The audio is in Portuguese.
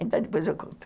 Então, depois eu conto.